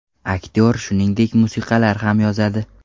Aktyor shuningdek, musiqalar ham yozadi.